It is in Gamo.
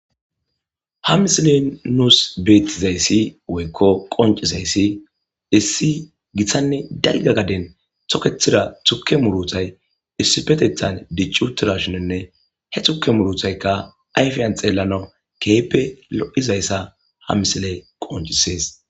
ha misilen nuus beettizayssi woykko qoncisayssi issi giththanne dagga gaden tokethira tukke muruthay issifetethan diccuutirashunenne he xukke muruthaykka ayfiyan xeellano keeppe lo7izayssa ha misiley qoncisees